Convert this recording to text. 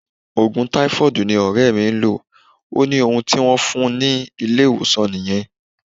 Ogun taifoodi ni ore mi n lo, o ni ohun ti won fun ni ile-iwosan niyen.